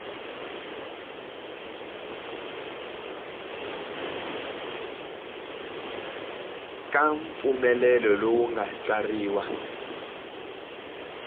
ka mpfumelelo lowu nga tsariwa